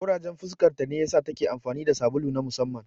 Ƙurajen fuskarta ne ya sa ta ke amfani da sabulu na musamman.